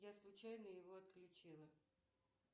я случайно его отключила